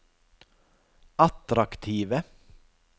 attraktive